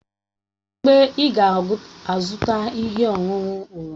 Kedụ mgbe ị ga-azụta ihe ọṅụṅụ oroma?